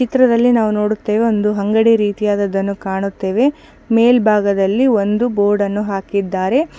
ಈ ಚಿತ್ರದಲ್ಲಿ ನಾವು ನೋಡುತ್ತೇವೆ ಒಂದು ಅಂಗಡಿ ರೀತಿಯಾದದ್ದನ್ನು ಕಾಣುತ್ತೇವೆ ಮೇಲ್ಭಾಗದಲ್ಲಿ ಒಂದು ಬೋರ್ಡ್ ನ್ನು ಹಾಕಿದ್ದಾರೆ.